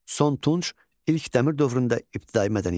Son Tunç, ilk Dəmir dövründə ibtidai mədəniyyət.